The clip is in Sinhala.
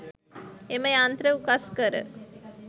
එම යන්ත්‍ර උකස් කර